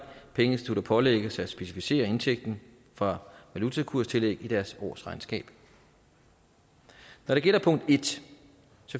pengeinstitutter pålægges at specificere indtægten fra valutakurstillæg i deres årsregnskab når det gælder punkt en